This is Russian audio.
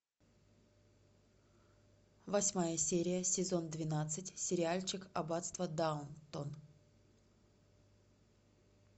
восьмая серия сезон двенадцать сериальчик аббатство даунтон